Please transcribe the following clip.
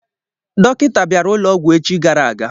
Dọkịta bịara ụlọ ọgwụ echi gara aga.